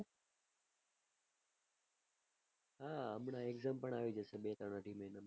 હા હમણાં exam પન આવી જશે બે ત્રણ અઢી મહિના માં